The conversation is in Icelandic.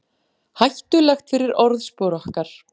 Hættulegt fyrir orðspor okkar